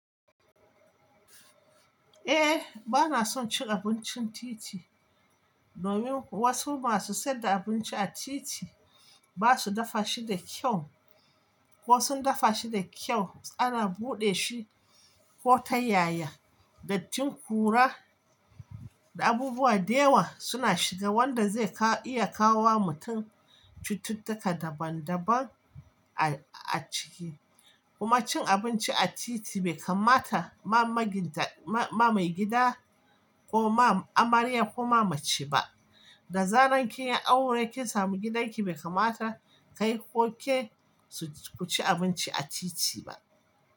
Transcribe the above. Eh, bana son cin abuncin titi domin wasu masu sayar da abinci a titi ba su dafa shi da kyau ko sun dafa shi da kyau, ana buɗe shi ko ta yaya, dattin ƙura da abubuwa da yawa suna shiga wanda zai iya kawo wa mutum cututtuka daban daban a ciki. Kuma cin abinci a titi bai kammata ma maginta, ma ma maigida ko ma amarya ko ma mace ba. Da zaran kin yi aure kin samu gidanki bai kammata kai ko ke su-- ku ci abunci a titi ba.